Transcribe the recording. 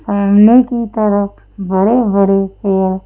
सामने की तरफ बड़े-बड़े हेयर--